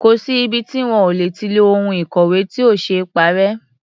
Kò sí ibi tí wọn ò lè ti lo ohun ìkọ̀wé tí ò ṣee parẹ́.